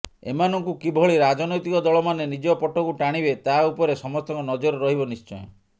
ଏମାନଙ୍କୁ କିଭଳି ରାଜନୈତିକ ଦଳମାନେ ନିଜ ପଟକୁ ଟାଣିବେ ତା ଉପରେ ସମସ୍ତଙ୍କ ନଜର ରହିବ ନିଶ୍ଚୟ